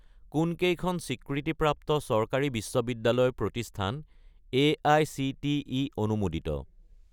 কোনকেইখন স্বীকৃতিপ্ৰাপ্ত চৰকাৰী বিশ্ববিদ্যালয় প্ৰতিষ্ঠান এআইচিটিই অনুমোদিত?